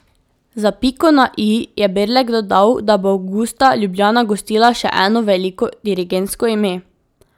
Za piko na i je Brlek dodal, da bo avgusta Ljubljana gostila še eno veliko dirigentsko ime.